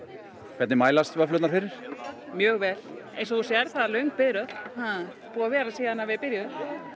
hvernig mælast vöfflurnar fyrir mjög vel eins og þú sérð það er löng biðröð og búin að vera síðan við byrjuðum